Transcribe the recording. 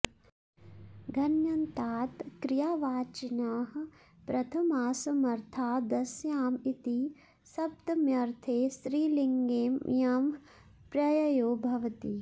घञन्तात् कियावाचिनः प्रथमासमर्थादस्याम् इति सप्तम्यर्थे स्त्रीलिङ्गे ञः प्रययो भवति